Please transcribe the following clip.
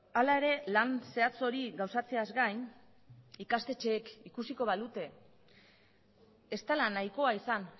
hala ere lan zehatz hori gauzatzeaz gain ikastetxeek ikusiko balute ez dela nahikoa izan